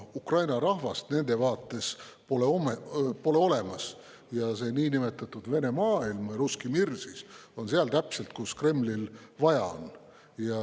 Ukraina rahvast pole nende vaates olemas ja see niinimetatud Vene maailm, russki mir siis, on täpselt seal, kus Kremlil vaja on.